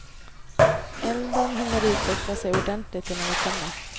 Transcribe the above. Elden hinner utveckla sig ordentligt innan vi kommer.